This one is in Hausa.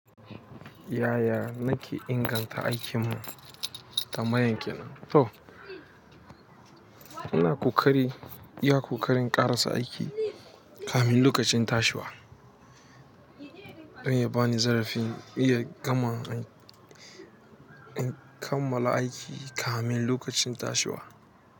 Yaya nake inganta aikinmu ta kamar ya kenan? To, ina ƙoƙari iya ƙoƙarin ƙarasa aiki kafin lokacin tashiwa. Dan ya bani zarafi iya gama in kammala aiki kamin lokacin tashiwa.